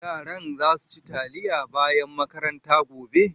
Yaran za su ci taliya bayan makaranta gobe?